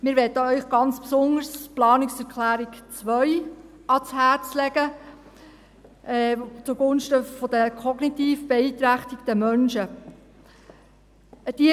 Wir möchten Ihnen ganz besonders die Planungserklärung 2 zugunsten der kognitiv beeinträchtigten Menschen ans Herz legen.